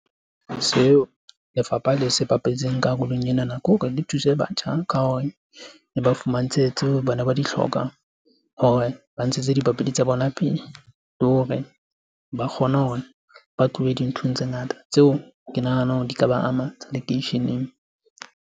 Seo lefapha le se bapetseng karolong ena na ke hore le thuse batjha ka hore e ba fumantshetswe tseo bana ba di hlokang, hore ba ntshetse dipapadi tsa bona pele. Le hore ba kgone hore ba tlohe dinthong tse ngata tseo ke nahanang hore di ka ba ama tsa lekeisheneng.